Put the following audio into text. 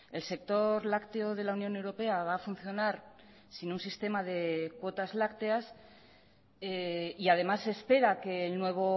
el sector lácteo de la unión europea va a funcionar sin un sistema de cuotas lácteas y además se espera que el nuevo